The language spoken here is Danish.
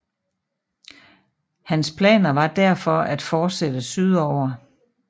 Hans planer var derfor at fortsætte sydover